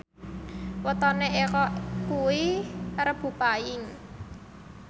wetone Eko kuwi Rebo Paing